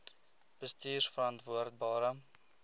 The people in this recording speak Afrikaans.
bestuurverantwoordbare